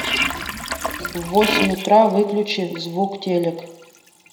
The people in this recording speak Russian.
в восемь утра выключи звук телек